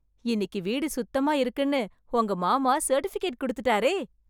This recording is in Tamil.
இன்னிக்கு வீடு சுத்தமா இருக்குன்னு உங்க மாமா சர்ட்டிஃபிகேட் குடுத்துட்டாரே...